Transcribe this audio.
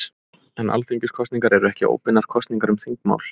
En Alþingiskosningar eru ekki óbeinar kosningar um þingmál.